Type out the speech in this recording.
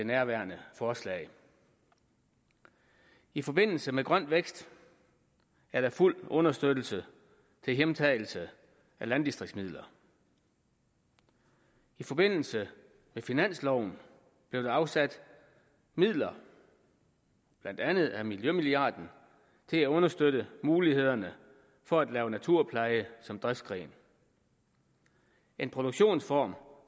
nærværende forslag i forbindelse med grøn vækst er der fuld understøttelse til hjemtagelse af landdistriktsmidler i forbindelse med finansloven blev der afsat midler blandt andet af miljømilliarden til at understøtte mulighederne for at lave naturpleje som driftsgren en produktionsform